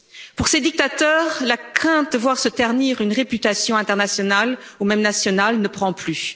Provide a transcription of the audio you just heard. Pour ces dictateurs, la crainte de voir se ternir une réputation internationale ou même nationale ne prend plus.